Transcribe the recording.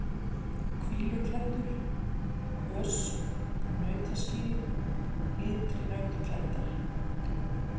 Hvíluklettur, Kös, Nautaskýlið, Ytri-Nautaklettar